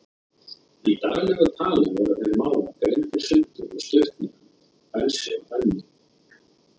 Í daglegu tali voru þeir mágar greindir sundur með stuttnefnunum Bensi og Benni.